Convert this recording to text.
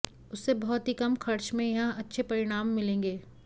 उससे बहुत ही कम खर्च में यहां अच्छे परिणाम मिलेंगे